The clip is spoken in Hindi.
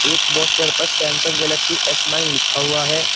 एक पोस्टर पर सैमसंग गैलेक्सी एस नाइन लिखा हुआ है।